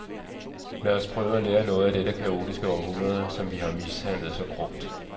Lad os prøve at lære noget af dette kaotiske århundrede, som vi har mishandlet så grumt.